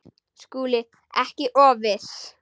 SKÚLI: Ekki of viss!